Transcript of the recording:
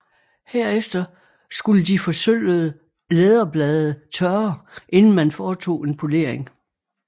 Herefter skulle de forsølvede læderblade tørre inden man foretog en polering